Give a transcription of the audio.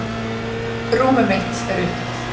Rúmið mitt er upptekið.